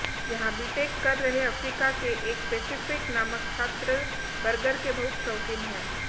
यहां बीटेक कर रहे अफ्रीका के एक पेसिफिक नामक छात्र बर्गर के बहुत शौकीन हैं